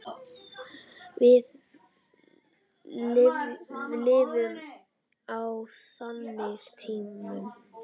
Við lifum á þannig tímum.